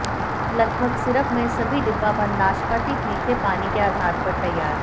लगभग सिरप में सभी डिब्बाबंद नाशपाती मीठे पानी के आधार पर तैयार